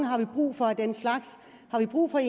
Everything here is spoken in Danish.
har brug for af den slags har vi brug for